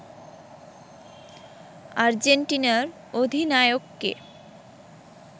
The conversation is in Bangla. আর্জেন্টিনার অধিনায়ককে